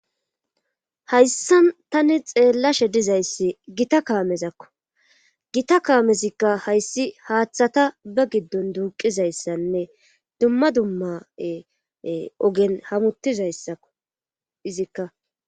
hayssan tani xeellashe dizayssi gita kaamezakko gita kaamezikka hayssi haaththata ba giddon duuqizayssanne dumma dumma ogen hamutizayssakko izikka